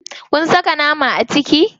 Kun saka nama a ciki?